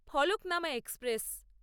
Falaknuma express